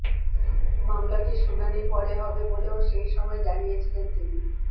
মামলাটির শুনানি পরে হবে বলেও সেই সময় জানিয়েছিলেন তিনি